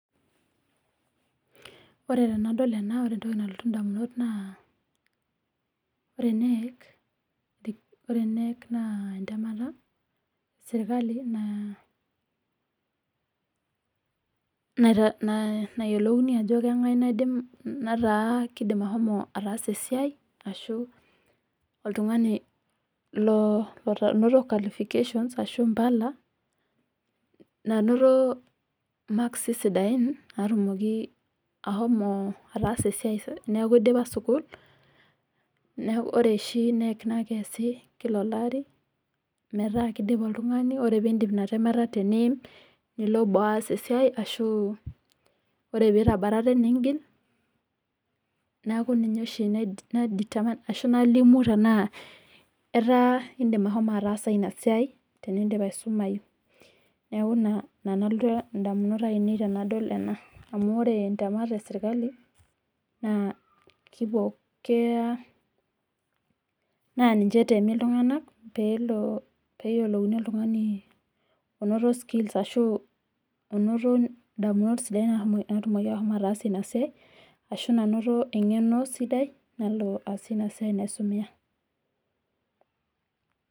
Ore tenadol ena ore entoki nalotu indamunot naa, ore KNEC naa entemata esirkali nayiolouni ajo keng'ae oidim nataa kidim ahomo ataasa esiai, ashu oltung'ani lonoto qualification ashu mpala, nanoto makisi sidain natumoki ahomo ataasa esiai teneeku idipa sukuul, ore oshi KNEC na keesi kila olari, metaa kidip oltung'ani, ore pidip ina temata teniim, nilo boo aas esiai ashu ore pitabatate nigil, neeku ninye oshi ai determine ashu nalimu tenaa etaa idim ahomo ataasa inasiai tenidip asumayu. Neeku ina nalotu indamunot ainei tenadol ena. Amu ore ntemat esirkali, naa kiko keya na ninche etemi iltung'anak peyiolouni oltung'ani onoto skills ashu onoto damunot sidain natumoki ashomo ataasie inasiai, ashu nanoto eng'eno sidai, nalo aasie inasiai naisumia.